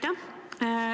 Aitäh!